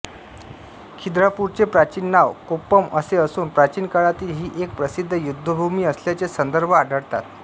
खिद्रापूरचे प्राचीन नाव कोप्पम असे असून प्राचीन काळातील ही एक प्रसिद्ध युद्धभूमी असल्याचे संदर्भ आढळतात